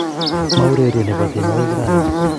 mo urerie ne bo tienwokik rani